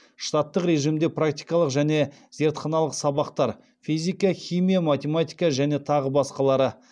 штаттық режимде практикалық және зертханалық сабақтар